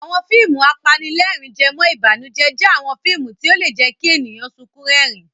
Àwọn fíìmù apanílẹ̀rín-jẹmọ́-ìbànújẹ́ jẹ́ àwọn fíìmù tí ó lè jẹ́ kí ènìyàn sunkún rẹ́rìn-ín.